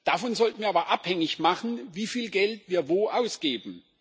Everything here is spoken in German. Davon sollten wir aber abhängig machen, wieviel Geld wir wo ausgeben.